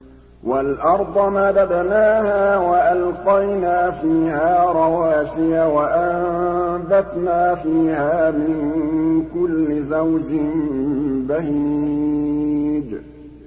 وَالْأَرْضَ مَدَدْنَاهَا وَأَلْقَيْنَا فِيهَا رَوَاسِيَ وَأَنبَتْنَا فِيهَا مِن كُلِّ زَوْجٍ بَهِيجٍ